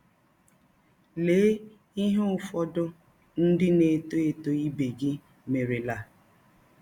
Lee ihe ụfọdụ ndị na - etọ etọ ibe gị merela.